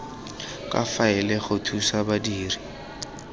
tsa faele go thusa badiri